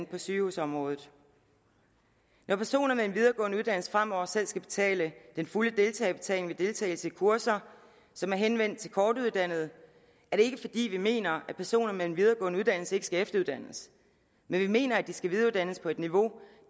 på sygehusområdet når personer med en videregående uddannelse fremover selv skal betale den fulde deltagerbetaling ved deltagelse i kurser som er henvendt til kortuddannede er det ikke fordi vi mener at personer med en videregående uddannelse ikke skal efteruddannes men vi mener at de skal videreuddannes på et niveau